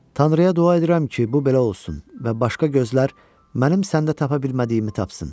Tanrıya dua edirəm ki, bu belə olsun və başqa gözlər mənim səndə tapa bilmədiyimi tapsın.